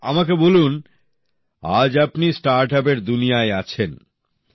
আচ্ছা আমাকে বলুন আজ আপনি স্টার্টআপের দুনিয়ায় আছেন